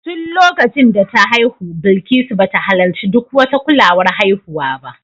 Tun lokacin da ta haihu Bilikisu ba ta halarci duk wata kulawar haihuwa ba